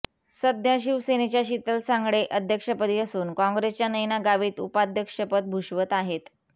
सध्या शिवसेनेच्या शीतल सांगळे अध्यक्षपदी असून काँग्रेसच्या नयना गावित उपाध्यक्षपद भूषवत आहेत